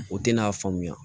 O tɛna faamuya